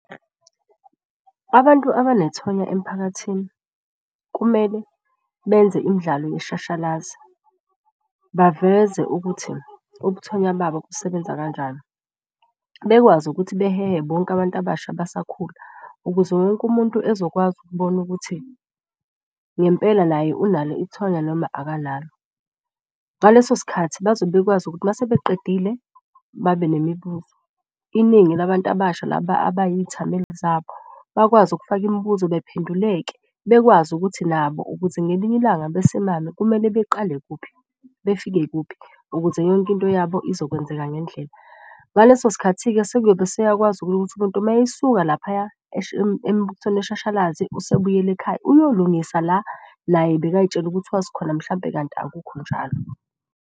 Abantu abanethoya emphakathini kumele benze imidlalo yeshashalazi baveze ukuthi ubuthonya babo busebenza kanjani. Bekwazi ukuthi behehe bonke abantu abasha abasakhula ukuze wonke umuntu ezokwazi ukubona ukuthi ngempela naye unalo ithonya noma akanalo. Ngaleso sikhathi bazobe bekwazi ukuthi mase beqedile babe nemibuzo, iningi labantu abasha laba abayithameli zabo bakwazi ukufaka imibuzo. Bephenduleke bekwazi ukuthi nabo ukuze ngelinye ilanga besimame kumele beqale kuphi, befike kuphi ukuze yonke into yabo izokwenzeka ngendlela. Ngaleso sikhathi-ke sekuyobe seyakwazi ukuthi umuntu mayesuka laphaya emubukisweni weshashalazi usebuyele ekhaya. Uyolungisa la naye bekay'tshela ukuthi wazi khona mhlampe kanti akukho njalo.